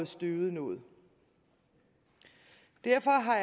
støvet noget derfor har